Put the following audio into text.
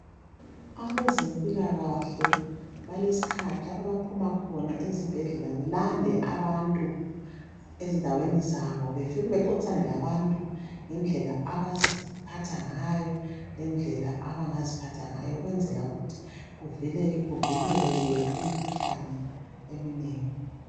Abezempilakhle balesikhathi lapho abaphuma khona ezibhedlela belande abantu endaweni zabo befike bexoxisane labantu ngendlela abaziphatha ngayo lendlela abangaziphatha ngayo ukwenzela ukuthi kuvikeleke imikhuhlane eminengi.